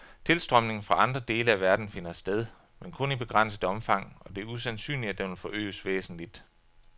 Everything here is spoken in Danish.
Tilstrømning fra andre dele af verden finder sted, men kun i begrænset omfang, og det er usandsynligt at den vil forøges væsentligt.